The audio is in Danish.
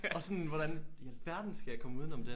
Og sådan hvordan i alverden skal jeg komme uden om det